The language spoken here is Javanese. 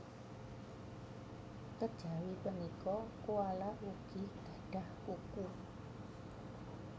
Kejawi punika koala ugi gadhah kuku